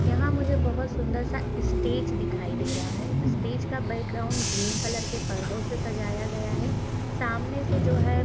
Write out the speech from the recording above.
यहाँ मुझे बहुत सुंदर-सा स्टेज दिखाई दे रहा है। स्टेज का बैकग्राउंड ग्रीन कलर के पर्दो से सजाया गया है। सामने से जो है --